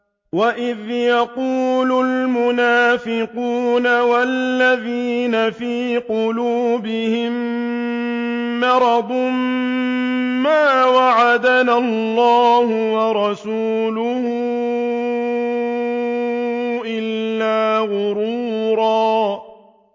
وَإِذْ يَقُولُ الْمُنَافِقُونَ وَالَّذِينَ فِي قُلُوبِهِم مَّرَضٌ مَّا وَعَدَنَا اللَّهُ وَرَسُولُهُ إِلَّا غُرُورًا